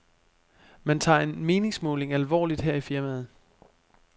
Man tager en meningsmåling alvorligt her i firmaet.